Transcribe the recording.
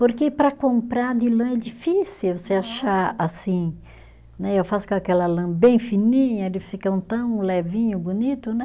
Porque para comprar de lã é difícil, você achar assim né, eu faço com aquela lã bem fininha, eles ficam tão levinho, bonito, né?